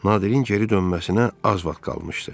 Nadirin geri dönməsinə az vaxt qalmışdı.